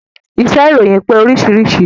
Iṣẹ́ ìròyìn pé oríṣiríṣi